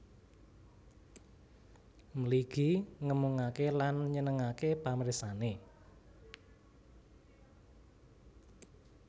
Mligi ngemungake lan nyenengake pamirsane